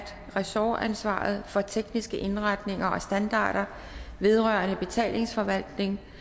ressortansvaret for af tekniske indretninger og standarder vedrørende betalingsforvaltning